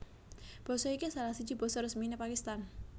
Basa iki salah siji basa resminé Pakistan